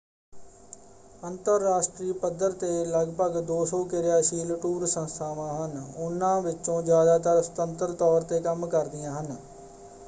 ਅੰਤਰਰਾਸ਼ਟਰੀ ਪੱਧਰ 'ਤੇ ਲਗਭਗ 200 ਕਿਰਿਆਸ਼ੀਲ ਟੂਰ ਸੰਸਥਾਵਾਂ ਹਨ। ਉਨ੍ਹਾਂ ਵਿੱਚੋਂ ਜ਼ਿਆਦਾਤਰ ਸੁਤੰਤਰ ਤੌਰ 'ਤੇ ਕੰਮ ਕਰਦੀਆਂ ਹਨ।